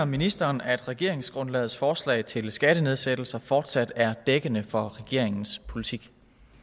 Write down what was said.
ministeren at regeringsgrundlagets forslag til skattenedsættelser fortsat er dækkende for regeringens politik